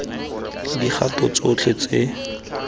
dikgato tsotlhe tse di tlhokegang